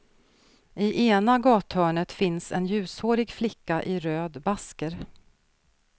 I ena gathörnet finns en ljushårig flicka i röd basker.